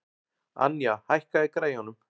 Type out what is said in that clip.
Anja, hækkaðu í græjunum.